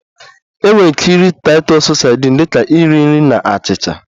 Enwere ike iri Titus sadin dị ka nri nri na achịcha